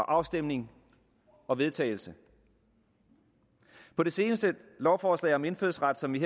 afstemning og vedtagelse på det seneste lovforslag om indfødsret som vi